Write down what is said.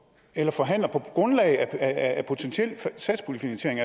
eller forhandler på grundlag af potentiel satspuljefinansiering